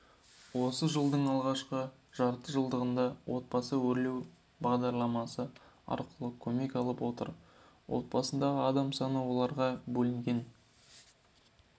осы жылдың алғашқы жартыжылдығында отбасы өрлеу бағдарламасы арқылы көмек алып отыр отбасындағы адам саны оларға бөлінген